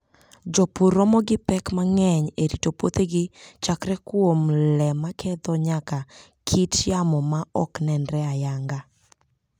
Jopur romo gi pek mang'eny e rito puothegi, chakre kuom le maketho nyaka kit yamo ma ok nenre ayanga.